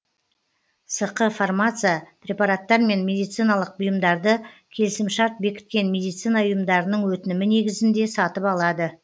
сқ фармация препараттар мен медициналық бұйымдарды келісімшарт бекіткен медицина ұйымдарының өтінімі негізінде сатып алады